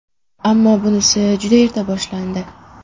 Ammo bunisi juda erta boshlandi.